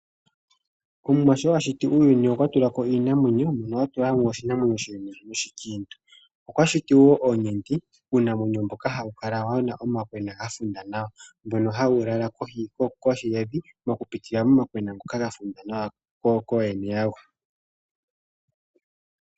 Omwa sho ashiti uuyuni okwa tulako iinamwenyo shimwe oshikintu noshimwe oshilumentu. Okwa shiti wo oonyenti uunamwenyo mboka hawu kala wuna omakwena gafundwa nawa mbono hawu lala kohi yevi oku pitila momakwena ngoka gafulwa nawa koyene ya go.